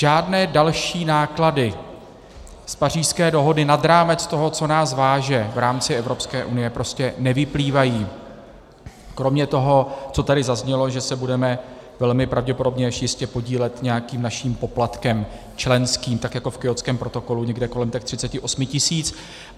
Žádné další náklady z Pařížské dohody nad rámec toho, co nás váže v rámci Evropské unie, prostě nevyplývají kromě toho, co tady zaznělo, že se budeme velmi pravděpodobně až jistě podílet nějakým naším poplatkem, členským, tak jako v Kjótském protokolu, někde kolem těch 38 tisíc.